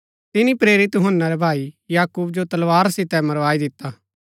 तिनी प्रेरित यूहन्‍ना रै भाई याकूब जो तलवार सितै मरवाई दिता